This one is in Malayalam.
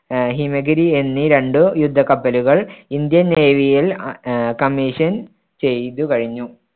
ആഹ് ഹിമഗിരി എന്നീ രണ്ട് യുദ്ധ കപ്പലുകൾ ഇന്ത്യൻ നേവിയിൽ അ ആഹ് commission ചെയ്ത് കഴിഞ്ഞു.